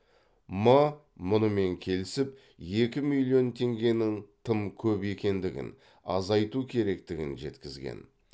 м мұнымен келісіп екі миллион теңгенің тым көп екендігін азайту керектігін жеткізген